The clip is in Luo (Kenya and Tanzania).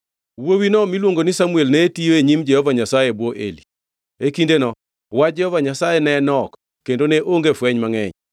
Wuowino miluongo ni Samuel ne tiyo e nyim Jehova Nyasaye e bwo Eli. E kindeno wach Jehova Nyasaye ne nok kendo ne onge fweny mangʼeny.